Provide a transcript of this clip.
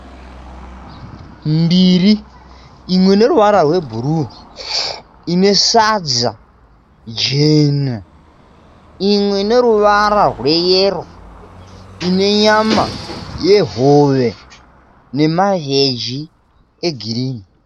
Ndiro mbiri imwe ine ruvara rwe bhuruu ine sadza jena. Imwe ine ruwara rwe yero ine nyama ye hove ne mavheji e girini.